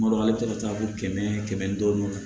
Mali ka ca fo kɛmɛ kɛmɛ duuru